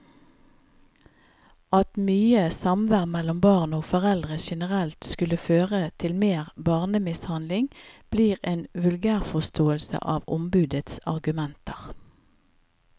At mye samvær mellom barn og foreldre generelt skulle føre til mer barnemishandling, blir en vulgærforståelse av ombudets argumenter.